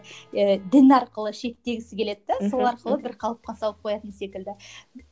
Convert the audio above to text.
ііі дін арқылы шектегісі келеді де мхм сол арқылы бір қалыпқа салып қоятын секілді